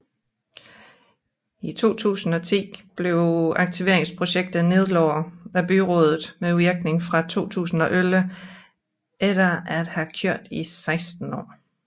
I 2010 blev aktiveringsprojektet nedlagt af byrådet med virkning fra 2011 efter at have kørt i 16 år